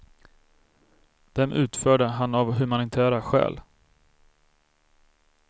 Dem utförde han av humanitära skäl.